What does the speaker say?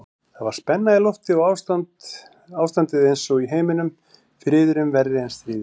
Það var spenna í lofti og ástandið einsog í heiminum, friðurinn verri en stríðið.